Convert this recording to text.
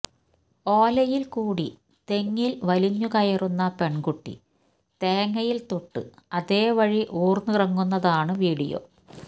ഓലയിൽ കൂടി തെങ്ങിൽ വലിഞ്ഞുകയറുന്ന പെൺകുട്ടി തേങ്ങയിൽ തൊട്ട് അതേവഴി ഊർന്നിറങ്ങുന്നതാണ് വീഡിയോ